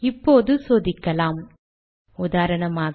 இப்போது சோதிக்கலாம்உதாரணமாக